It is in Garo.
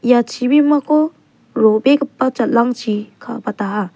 ia chibimako ro·begipa jal·angchi kabataha.